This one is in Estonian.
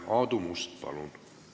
Aadu Must, palun!